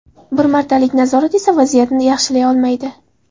Bir martalik nazorat esa vaziyatni yaxshilay olmaydi.